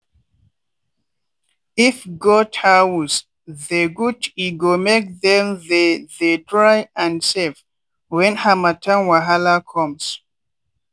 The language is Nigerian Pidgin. if goat house they good e go make them they they dry and safe when harmattan wahala comes.